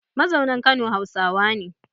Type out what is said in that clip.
Mazaunan Kano Hausawa ne